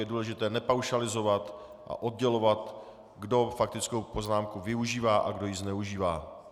Je důležité nepaušalizovat a oddělovat, kdo faktickou poznámku využívá a kdo ji zneužívá.